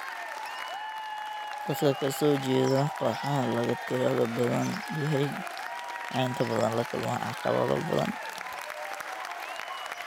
Dadka ka soo jeeda kooxaha laga tirada badan yahay waxay inta badan la kulmaan caqabado badan.